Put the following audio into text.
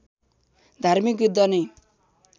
धार्मिक युद्ध नै